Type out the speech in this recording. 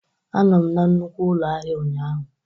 Anọ m na nnukwu ụlọ ahịa ụnyaahụ.